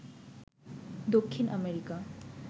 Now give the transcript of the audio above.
Dakshin America